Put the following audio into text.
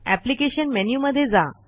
application menu मध्ये जा